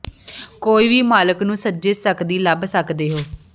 ਕੋਈ ਵੀ ਮਾਲਕ ਨੂੰ ਸੱਜੇ ਸਕਦੀ ਲੱਭ ਸਕਦੇ ਹੋ